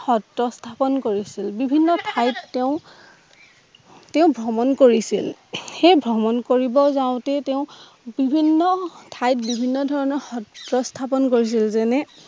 সত্ৰ স্থাপন কৰিছিল। বিভিন্ন ঠাইত তেওঁ তেওঁ ভ্ৰমন কৰিছিল। সেই ভ্ৰমন কৰিব যাওঁতে তেওঁ বিভিন্ন ঠাইত বিভিন্ন ধৰণৰ সএ স্থাপন কৰিছিল যে